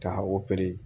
Ka